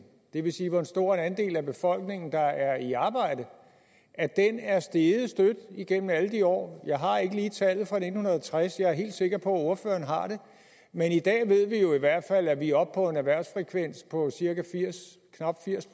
det vil sige hvor stor en andel af befolkningen der er i arbejde er steget støt igennem alle de år jeg har ikke lige tallet for nitten tres jeg er helt sikker på at ordføreren har det men i dag ved vi jo i hvert fald at vi er oppe på en erhvervsfrekvens på knap firs